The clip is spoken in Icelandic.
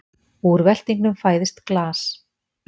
Úr veltingnum fæðist glas.